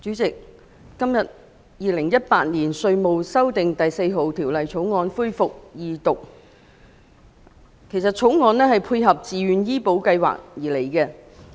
代理主席，《2018年稅務條例草案》今天恢復二讀辯論，《條例草案》旨在配合自願醫保計劃。